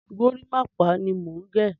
Gorímápá ni mò ń gẹ̀.